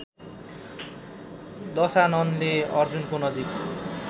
दशाननले अर्जुनको नजिक